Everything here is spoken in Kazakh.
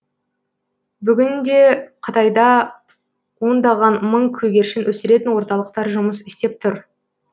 бүгін де қытайда ондаған мың көгершін өсіретін орталықтар жұмыс істеп тұр